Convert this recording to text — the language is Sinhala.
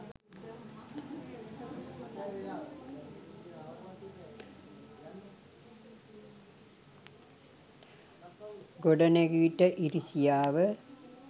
ගොඩනැගිච්ච ඉරිසියාව